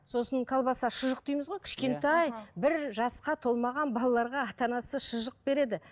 сосын колбаса шұжық дейміз ғой кішкентай бір жасқа толмаған балаларға ата анасы шұжық береді